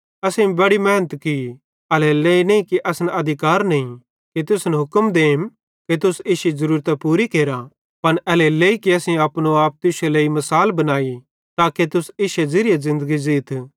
असेईं बड़ी मेहनत की एल्हेरेलेइ नईं कि असन अधिकार नईं कि तुसन हुक्म देम कि तुस इश्शी ज़रूरतां पूरी केरा पन एल्हेरेलेइ कि असेईं अपनो आप तुश्शे लेइ मिसाल बनाई ताके तुस इश्शे ज़ेरि ज़िन्दगी ज़ीथ